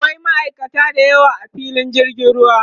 akwai ma'aikata da yawa a filin jirgin ruwa